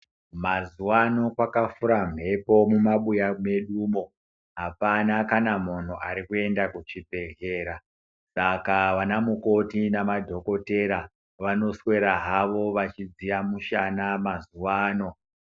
Mazuvano kwaka fura mhepo muma buya medu mwo apana kana munhu arikuenda ku chibhedhlera saka vana mukoti na madhokotera vano swera hawo vachi dziya mushana mazuvano.